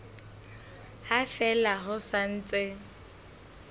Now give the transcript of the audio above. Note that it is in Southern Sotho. ha fela ho sa ntse